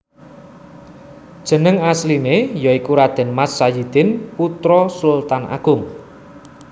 Jeneng asliné ya iku Raden Mas Sayidin putra Sultan Agung